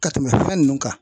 Ka tɛmɛ fɛn ninnu kan .